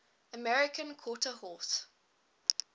american quarter horse